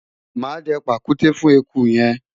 mà á dẹ pàkúté fún eku yẹn